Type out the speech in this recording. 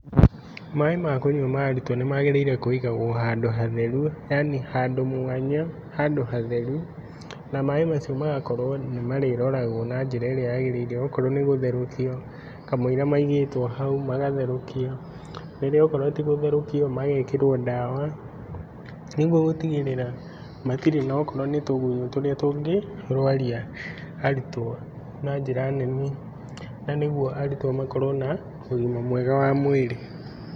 Maĩ ma arutwo makũnywa nĩmagĩrĩire kũigagwo handũ hatheru yani handũ mwanya handũ hatheru na maĩ macio magakorwo nĩmarĩrogwo na njĩra ĩrĩa yagĩrĩire okorwo nĩ gũtherũkio kamũira maigĩtwo hau. Okorwo tigũtherũkiũ magekĩrwo dawa nĩgũtigĩrĩra matirĩ na tũgunyũ tũrĩa tũngĩrwaria arutwo na njĩra nene nanĩgwo arutwo makorwo na ũgima mwega wa mwĩrĩ.